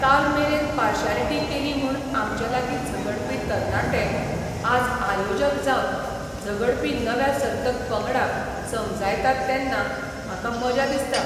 काल मेरेन पार्शालिटी केली म्हूण आमचे लागीं झगडपी तरणाटे आज आयोजक जावन झगडपी नव्या सर्तक पंगडाक समजायतात तेन्ना म्हाका मजा दिसता.